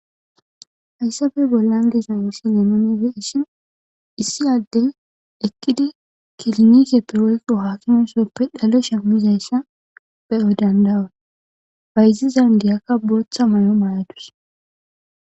hayssafe bollan disa yossi lemonife ishin issi addey ekkidi kilinike pirwoyko haakimosoppe dhale shemmizayssa be7o dandawa bayzizan diyaka bootha may7o mayadus